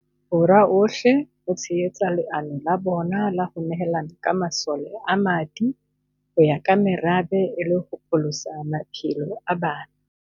Borwa ohle ho tshehetsa leano la bona la ho ne hela ka masole a madi ho ya ka merabe e le ho pholosa maphelo a bana.